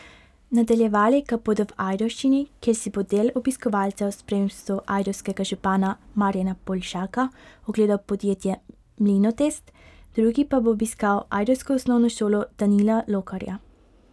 Nadaljevali ga bodo v Ajdovščini, kjer si bo del obiskovalcev v spremstvu ajdovskega župana Marjana Poljšaka ogledal podjetje Mlinotest, drugi pa bo obiskal ajdovsko osnovno šolo Danila Lokarja.